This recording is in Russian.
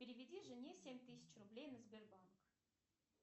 переведи жене семь тысяч рублей на сбербанк